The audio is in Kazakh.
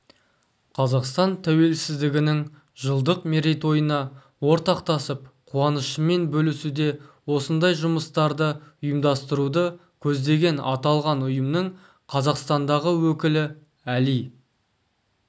қазақстан тәуелсіздігінің жылдық мерейтойына ортақтасып қуанышымен бөлісуде осындай жұмыстарды ұйымдастыруды көздеген аталған ұйымның қазақстандағы өкілі әли